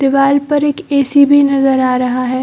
दीवाल पर एक ए.सी. भी नज़र आ रहा है।